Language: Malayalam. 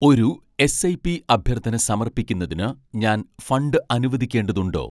ഒരു എസ്.ഐ.പി അഭ്യർത്ഥന സമർപ്പിക്കുന്നതിന് ഞാൻ ഫണ്ട് അനുവദിക്കേണ്ടതുണ്ടോ